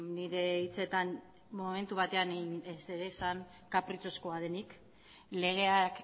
nire hitzetan momentu batean esan kapritxozkoa denik legeak